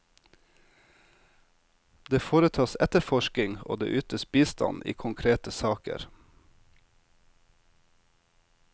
Det foretas etterforsking og det ytes bistand i konkrete saker.